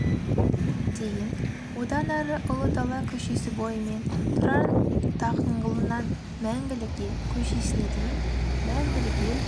дейін одан ары ұлы дала көшесі бойымен тұран даңғылынан мәңгілік ел көшесіне дейін мәңгілік ел